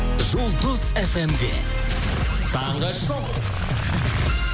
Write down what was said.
жұлдыз фм де таңғы шоу